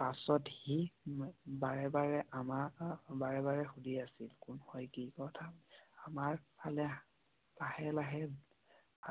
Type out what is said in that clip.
পাছত হি বাৰে বাৰে আমাক বাৰে বাৰে সুধি আছিল । কোন হয়? কি কথা বুলি। আমাৰ ফালে লাহে লাহে